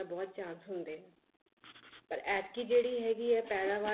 ਬਹੁਤ chance ਹੁੰਦੇ ਨੇ ਪਰ ਐਤਕੀ ਜਿਹੜੀ ਹੈਗੀ ਹੈ ਪੈਦਾਵਾਰ